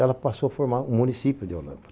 Ela passou a formar o município de Olâmbra.